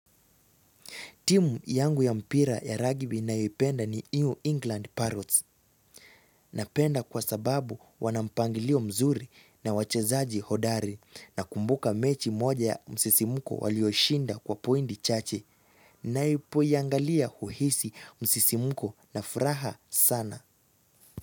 Timu yangu ya mpira ya ragbi nayoipenda ni iu England parrots. Napenda kwa sababu wana mpangilio mzuri na wachezaji hodari nakumbuka mechi moja ya msisimko walioshinda kwa pointi chache. Naipo iangalia huhisi msisimuko na furaha sana.